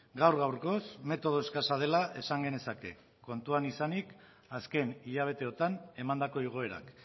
gaur gaurkoz metodo eskasa dela esan genezake kontuan izanik azken hilabeteotan emandako igoerak